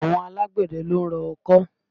Àwọn alágbẹ̀dẹ ló ń rọ ọkọ́